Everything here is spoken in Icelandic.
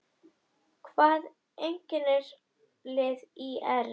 Hvað einkennir lið ÍR?